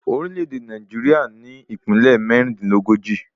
Orílè èdè Nàìjíríà ní Ìpínlẹ̀ mẹ́rìndínlógójì